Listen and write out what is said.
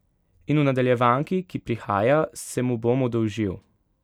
In v nadaljevanki, ki prihaja, se mu bom oddolžil.